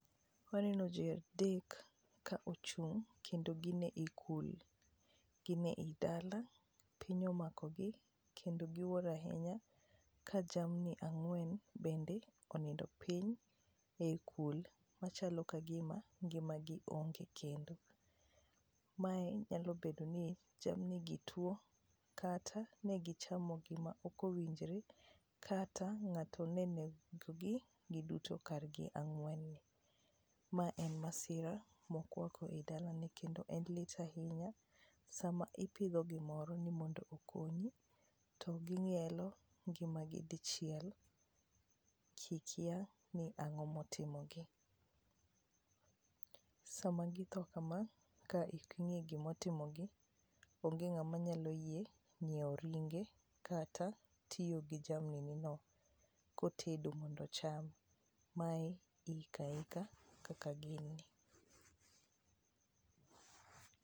Waneno ji adek ka ochung' mkendo gin ekul. Gin eidala piny omakogi kendo giwuoro ahinya ka jamni ang'wen onindo piny e kul machalo kagima ngimagi nge kendo. Mae nyalo bedo ni chal nigituo kata ne gichamo gima ok owinjore kata ng'ato ne onegogi giduto kargi ang'wen ni. Ma en masira mokwako i dalani kendo en lit ahinya. Sama ipidho gimoro ni mondo okonyi, to ging'ielo ngimagi dichiel kikia ni to ang'o motimogi. Sama githo kama ka ok ing'e gima oimogi, onge ng'ama nyalo yie nyiewo ringe kata tiyo gi jamni nino kotedo mondo ocham. Mae iiko aika kaka gin ni.